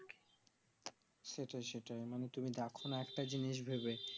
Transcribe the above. সেটাই সেটাই মানে তুমি দেখো না একটা জিনিস ভেবে